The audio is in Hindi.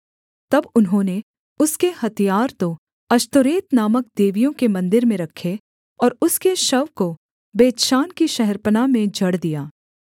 तब उन्होंने उसके हथियार तो अश्तोरेत नामक देवियों के मन्दिर में रखे और उसके शव को बेतशान की शहरपनाह में जड़ दिया